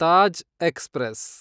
Taj express